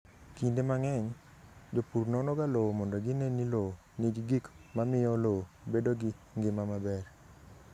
Kinde mang'eny, jopur nonoga lowo mondo gine ni lowo nigi gik mamiyo lowo bedo gi ngima maber.